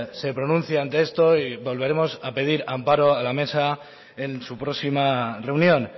se pronuncia ante esto y volveremos a pedir amparo a la mesa en su próxima reunión